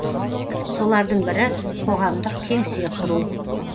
солардың бірі қоғамдық кеңсе құру